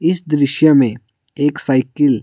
इस दृश्य में एक साइकिल --